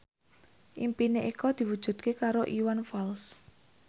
impine Eko diwujudke karo Iwan Fals